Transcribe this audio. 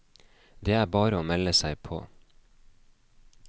Det er bare å melde seg på.